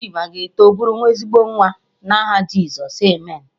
Chima ga-eto bụrụ ezigbo nwa, na aha Jizọs, Amen.